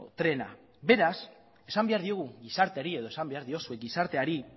trena beraz esan behar diogu gizarteari edo esan behar diozue gizarteari